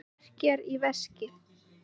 Þá verkjar í veskið.